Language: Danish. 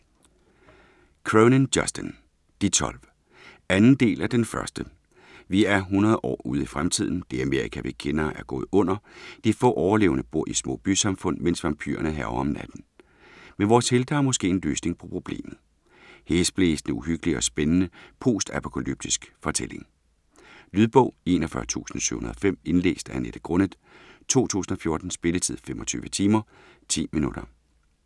Cronin, Justin: De tolv 2. del af Den første. Vi er 100 år ude i fremtiden. Det Amerika, vi kender, er gået under. De få overlevende bor i små bysamfund, mens vampyrerne hærger om natten. Men vores helte har måske en løsning på problemet. Hæsblæsende, uhyggelig og spændende postapokalyptisk fortælling. Lydbog 41705 Indlæst af Annette Grunnet , 2014. Spilletid: 25 timer, 10 minutter.